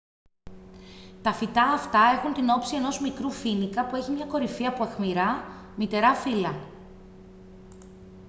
τα φυτά αυτά έχουν την όψη ενός μικρού φοίνικα που έχειμια κορυφή από αιχμηρά μυτερά φύλλα